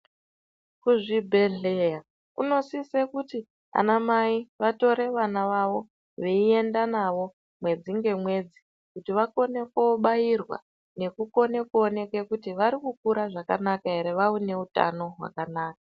Kuzvibhedhlera kunosise kuti anamai vatore vana vavo veiende navo mwedzi ngemwedzi vakone koobairwa nekukone kuoneke kuti varikukura zvakanaka here vave nehutano hwakanaka.